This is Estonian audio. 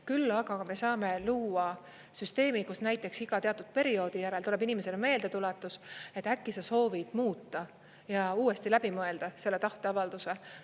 Küll aga me saame luua süsteemi, kus näiteks iga teatud perioodi järel tuleb inimesele meeldetuletus, et äkki sa soovid muuta ja uuesti läbi mõelda selle tahteavalduse.